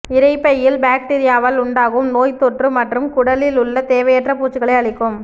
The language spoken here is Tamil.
இரைப்பையில் பாக்டீரியாவால் உண்டாகும் நோய்த் தொற்று மற்றும் குடலில் உள்ள தேவையற்ற பூச்சிகளை அழிக்கும்